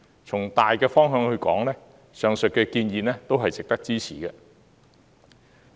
從大方向來說，上述建議都是值得支持的。